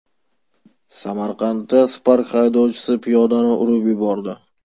Samarqandda Spark haydovchisi piyodani urib yubordi.